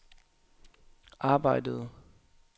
arbejdede